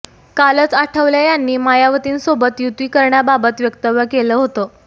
कालच आठवले यांनी मायावतींसोबत युती करण्याबाबत वक्तव्य केलं होतं